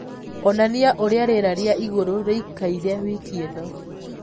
onanĩa ũrĩa rĩera rĩa ĩgũrũ rĩĩkaĩre wiki ĩnõ